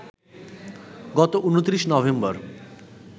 গত ২৯ নভেম্বর